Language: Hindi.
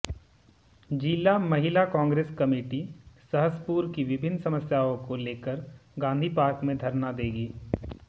जिला महिला कांग्रेस कमेटी सहसपुर की विभिन्न समस्याओं को लेकर गांधी पार्क में धरना देंगी